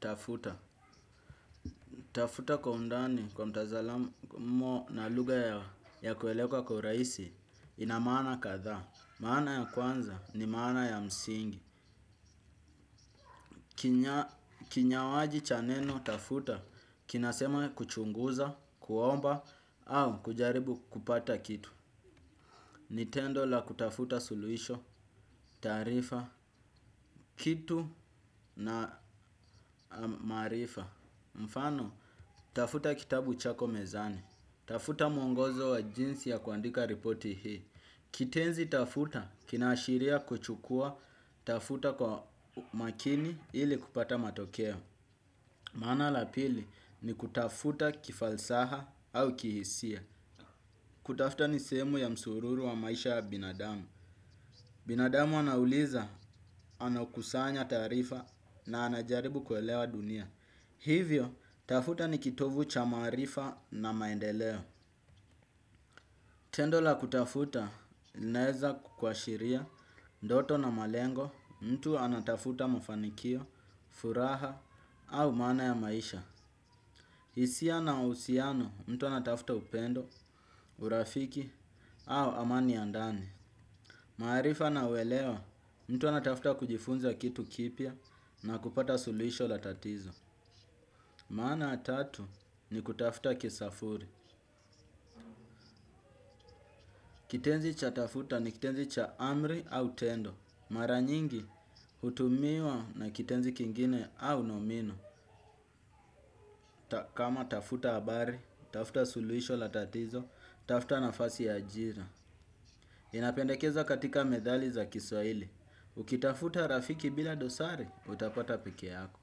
Tafuta. Tafuta kwa undani kwa mtazalamo na lugha ya kueleweka kwa raisi ina maana kadhaa. Maana ya kwanza ni maana ya msingi. Kinyawaji cha neno tafuta kinasema kuchunguza, kuomba au kujaribu kupata kitu. Ni tendo la kutafuta suluisho, taarifa, kitu na maarifa. Mfano, tafuta kitabu chako mezani. Tafuta mwongozo wa jinsi ya kuandika ripoti hii. Kitenzi tafuta kinaashiria kuchukua tafuta kwa makini ili kupata matokeo. Maana la pili ni kutafuta kifalsaha au kihisia. Kutafuta ni semu ya msururu wa maisha ya binadamu. Binadamu anauliza, anakusanya taarifa na anajaribu kuelewa dunia. Hivyo tafuta ni kitovu cha maarifa na maendeleo. Tendo la kutafuta, linaeza kukwashiria, ndoto na malengo, mtu anatafuta mafanikio, furaha, au maana ya maisha. Isia na usiano, mtu anatafuta upendo, urafiki, au amani ya ndani. Maarifa na uelewa, mtu anatafuta kujifunza kitu kipya na kupata sulisho la tatizo. Maana tatu, ni kutafuta kisafuri. Kitenzi cha tafuta, ni kitenzi cha amri au tendo. Mara nyingi hutumiwa na kitenzi kingine au nomino kama tafuta abari, tafuta suluisho la tatizo, tafuta nafasi ya ajira. Inapendekeza katika medhali za kiswaili. Ukitafuta rafiki bila dosari, utapata peke yako.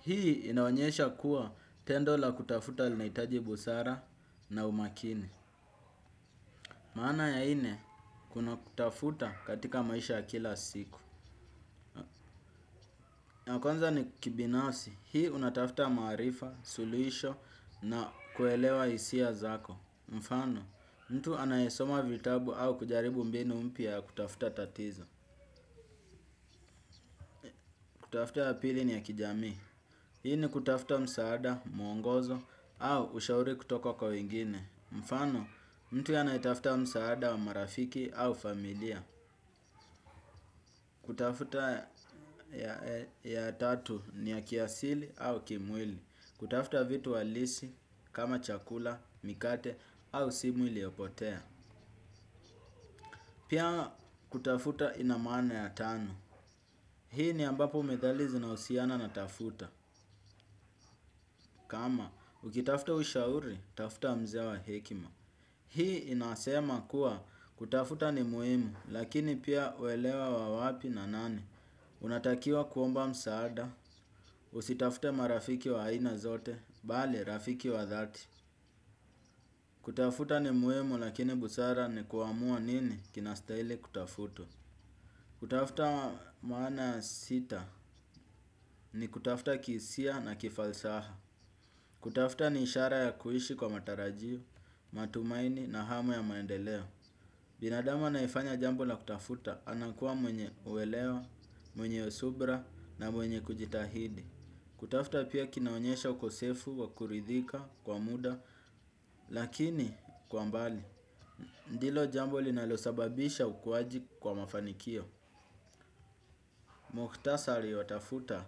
Hii inaonyesha kuwa tendo la kutafuta linaitaji busara na umakini. Maana ya ine kuna kutafuta katika maisha ya kila siku. Ya kwanza ni kibinafsi, hii unatafta maarifa, suluisho na kuelewa isia zako. Mfano, mtu anayesoma vitabu au kujaribu mbinu mpya ya kutafuta tatizo. Kutafuta ya pili ni ya kijamii. Hii ni kutafuta msaada, mwongozo au ushauri kutoka kwa wengine. Mfano, mtu anayetafta msaada wa marafiki au familia. Kutafuta ya tatu ni ya kiasili au kimwili. Kutafuta vitu halisi kama chakula, mikate au simu iliopotea. Pia kutafuta ina maana ya tano. Hii ni ambapo medhali zinahusiana na tafuta. Kama ukitafuta ushauri, tafuta mze wa hekima. Hii inasema kuwa kutafuta ni muhimu lakini pia uelewa wa wapi na nani. Unatakiwa kuomba msaada. Usitafute marafiki wa aina zote. Bali, rafiki wa dhati. Kutafuta ni muhimu lakini busara ni kuamua nini kinastaili kutafutwa. Kutafuta maana ya sita ni kutafuta kiisia na kifalsaha. Kutafuta ni ishara ya kuishi kwa matarajiu, matumaini na hamu ya maendeleo. Binadamu anayefanya jambo la kutafuta anakuwa mwenye uwelewa, mwenye subra na mwenye kujitahidi. Kutafuta pia kinaonyesha ukosefu wa kuridhika kwa muda lakini kwa mbali. Ndilo jambo linalo sababisha ukuwaji kwa mafanikio. Muktasari wa tafuta.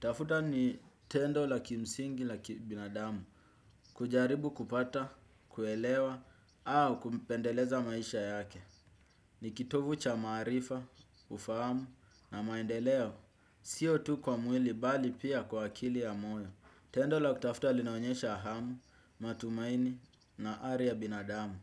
Tafuta ni tendo la kimsingi laki binadamu. Kujaribu kupata, kuelewa, au kumpendeleza maisha yake. Ni kitovu cha maarifa, ufahamu na maendeleo. Sio tu kwa mwili bali pia kwa akili ya moyo. Tendo la kutafuta linaonyesha hamu, matumaini na ari ya binadamu.